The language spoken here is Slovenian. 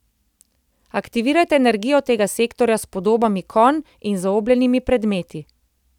Aktivirajte energijo tega sektorja s podobami konj in zaobljenimi predmeti.